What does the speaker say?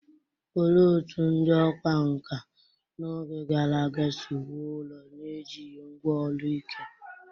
Olee otú ndị ọkwá nkà n’oge gara aga si wuo ụlọ n’ejighị ngwá ọrụ ike?